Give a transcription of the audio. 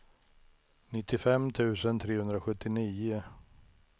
nittiofem tusen trehundrasjuttionio